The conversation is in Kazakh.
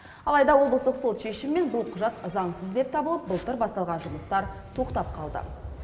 алайда облыстық сот шешімімен бұл құжат заңсыз деп табылып былтыр басталған жұмыстар тоқтап қалды